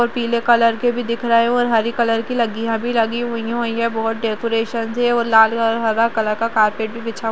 पीले कलर के भी दिख रहें हैं और हरे कलर की लड़ियाँ भी लगी हुई हैं यहाँ बहोत डेकोरशंस हैं और लाल और हरा कलर का कारपेट भी बिछा --